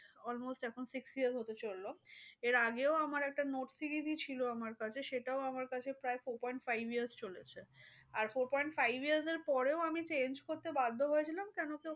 Almost এখন six years হতে চললো। এর আগেও আমার একটা note three ই ছিল আমার কাছে সেটাও আমার কাছে প্রায় four point five years চলেছে। আর four point five years এর পরেও আমি change করতে বাধ্য হয়েছিলাম। কেন কি